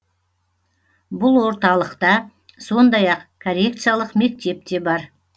бұл орталықта сондай ақ коррекциялық мектеп те бар